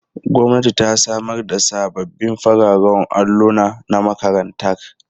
Gwamnati ta samar da sabbin fararen alluna na makarantar.